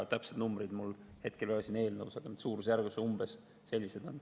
Täpseid numbreid mul ei ole, aga see suurusjärk on umbes selline.